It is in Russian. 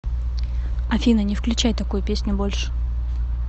афина не включай такую песню больше